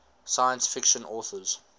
science fiction authors